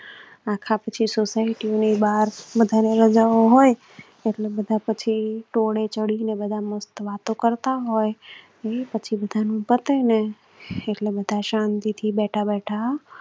આખા પછી સોસાયટી ની બહાર બધા ને રજા હોય. ટોળાં ચડી ને બધા મસ્ત વાતો કરતા હોય. પછી બધાનું પટેને પાછી એટલે બધા શાંતિ થી બેઠા બેઠા